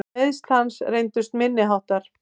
Meiðsl hans reyndust minni háttar.